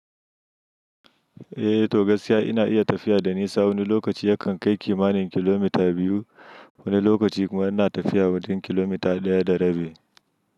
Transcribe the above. Eh, to gaskiya ina iya tafiya da nisa. Wani lokaci yakan kai kimanin kilomita biyu, wani lokaci kuma ina tafiya wajen kilomita ɗaya da rabi.